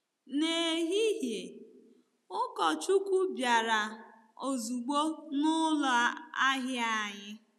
N'ehihie, ụkọchukwu bịara ozugbo n'ụlọ ahịa anyị.